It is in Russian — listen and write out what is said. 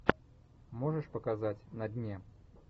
можешь показать на дне